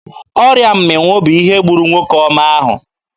Ọrịa mmịnwụ bụ ihe gburu nwoke ọma ahụ.